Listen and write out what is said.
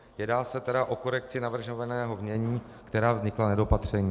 Jedná se tedy o korekci navrhovaného znění, která vznikla nedopatřením.